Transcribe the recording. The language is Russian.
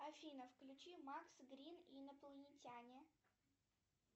афина включи макс грин инопланетяне